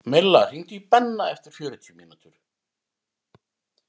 Milla, hringdu í Benna eftir fjörutíu mínútur.